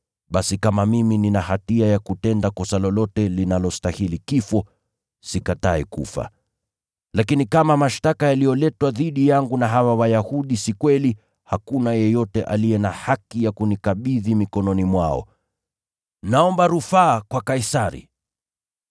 Basi kama mimi nina hatia ya kutenda kosa lolote linalostahili kifo, sikatai kufa. Lakini kama mashtaka yaliyoletwa dhidi yangu na hawa Wayahudi si kweli, hakuna yeyote aliye na haki ya kunikabidhi mikononi mwao. Naomba rufaa kwa Kaisari!”